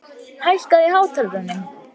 Gylfi, hækkaðu í hátalaranum.